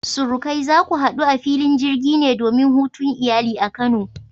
Surukai, za ku hadu a filin jirgi ne domin hutun iyali a kano?